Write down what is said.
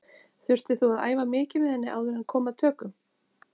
Þurftir þú að æfa mikið með henni áður en kom að tökum?